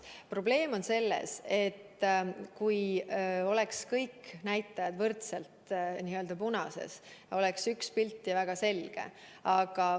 Probleem on selles, et kui oleks kõik näitajad võrdselt punases, siis oleks pilt väga selge.